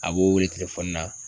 A b'o wele na.